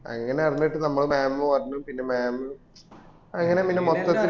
അങ്ങനെ അറിഞ്ഞിട്ട് നമ്മൾ mam പറഞ്ഞു പിന്നെ mam അങ്ങന പിന്നെ മൊത്തത്തിൽ